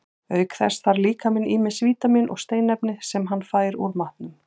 Auk þess þarf líkaminn ýmis vítamín og steinefni, sem hann fær úr matnum.